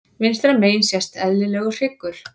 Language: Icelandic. Vinstra megin sést eðlilegur hryggur.